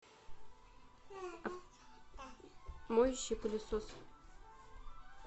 моющий пылесос